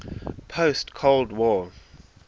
post cold war